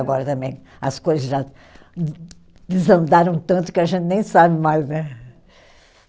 Agora também, as coisas já de desandaram tanto que a gente nem sabe mais, né?